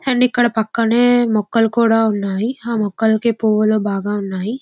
And ఇక్కడ పక్కనే మొక్కలు కూడా ఉన్నాయ్. ఆ మొక్కలు కు పువ్వులు బాగానే ఉన్నాయ్.